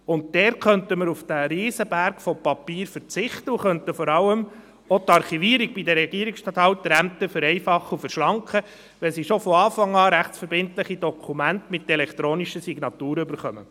Dort könnte man auf den riesigen Berg von Papier verzichten, und vor allem könnte auch die Archivierung bei den Regierungsstatthalterämtern vereinfacht und verschlankt werden, wenn sie von Anfang an rechtsverbindliche Dokumente mit elektronischer Signatur erhalten.